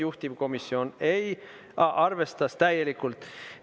Juhtivkomisjon arvestas täielikult.